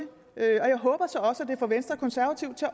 får venstre og konservative til